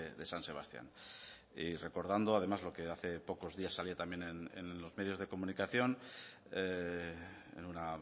de san sebastián y recordando además lo que hace pocos días salía también en los medios de comunicación en una